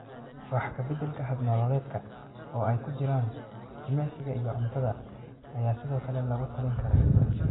Wax ka beddelka hab-nololeedka oo ay ku jiraan jimicsiga iyo cuntada ayaa sidoo kale lagu talin karaa.